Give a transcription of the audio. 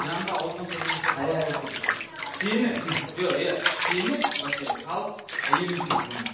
жанымда ауылдың қызы жүрсе қалай болады деп тұрсың сені жоқ иә сені вообще халық әйелің үшін сыйламайды